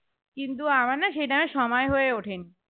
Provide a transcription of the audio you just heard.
কিন্তু আমার না সেই time এ সময় হয়ে ওঠেনি